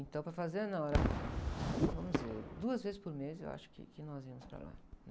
Então, para a fazenda, não, era... Vamos dizer, duas vezes por mês, eu acho que, que nós íamos para lá.